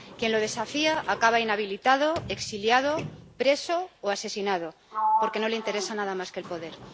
Quien lo desafía acaba inhabilitado, exiliado, preso o asesinado. Porque no le interesa nada más que el poder.